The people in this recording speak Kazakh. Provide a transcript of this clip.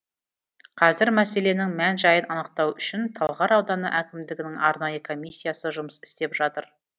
қазір мәселенің мән жайын анықтау үшін талғар ауданы әкімдігінің арнайы комиссиясы жұмыс істеп жатыр